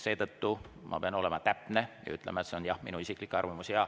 Seetõttu ma pean olema täpne ja ütlema, et jah, see on minu isiklik arvamus.